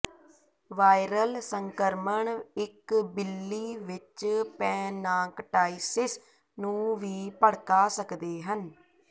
viral ਸੰਕਰਮਣ ਇੱਕ ਬਿੱਲੀ ਵਿੱਚ ਪੈਂਨਾਕਟਾਈਸਿਸ ਨੂੰ ਵੀ ਭੜਕਾ ਸਕਦੇ ਹਨ